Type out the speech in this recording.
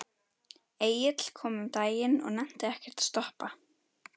Egill kom um daginn og nennti ekkert að stoppa.